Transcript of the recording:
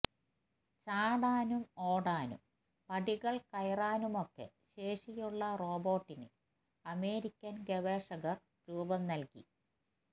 ചാടാനും ഓടാനും പടികള് കയറാനുമൊക്കെ ശേഷിയുള്ള റോബോട്ടിന് അമേരിക്കന് ഗവേഷകര് രൂപംനല്കി